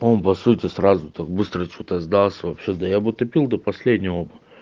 он по-сути сразу так быстро что-то сдался вообще-то я бы тупил до последнего то